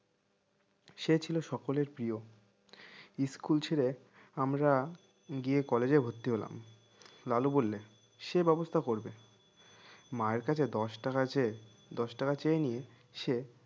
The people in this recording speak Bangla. সে ছিল সকলের প্রিয় school ছেড়ে আমরা গিয়ে collage এ ভর্তি হলাম লালু বললে সে ব্যবস্থা করবে মায়ের কাছে দশ টাকা চেয়ে দশ টাকা চেয়ে নিয়ে সে